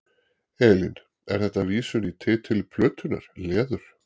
Elín: Er þetta vísun í titil plötunnar, Leður?